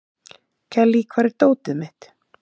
Kellý, hvar er dótið mitt?